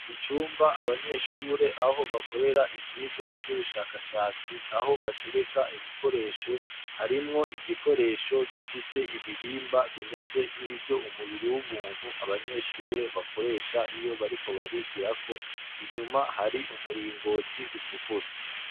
Mucumba abanyeshure aho bakorera ivyirwa vy'ubushakashatsi aho batereka ibikoresho harimwo igikoresho gifise ibihimba bimeze nk'ivyo umubiri w'ubuntu abanyeshure bakoresha iyo bariko barigirako, inyuma hari umuringoti utukura.